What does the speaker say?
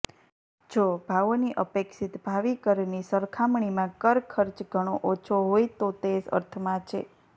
જો ભાવોની અપેક્ષિત ભાવિ કરની સરખામણીમાં કર ખર્ચ ઘણો ઓછો હોય તો તે અર્થમાં છે